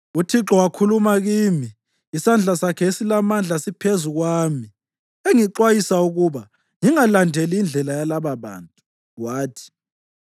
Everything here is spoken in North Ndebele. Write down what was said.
UThixo wakhuluma kimi isandla sakhe esilamandla siphezu kwami, engixwayisa ukuba ngingalandeli indlela yalababantu. Wathi: